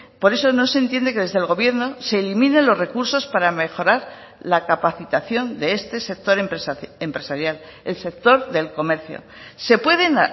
por eso no se entiende que desde el gobierno se eliminen los recursos para mejorar la capacitación de este sector empresarial el sector del comercio se pueden